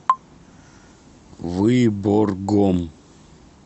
выборгом